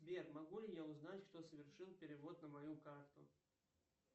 сбер могу ли я узнать кто совершил перевод на мою карту